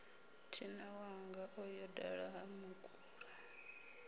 thinawanga o yo dala hamukula